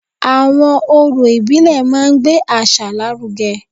Àwọn orò ìbílẹ̀ máa ń gbé àṣà lárugẹ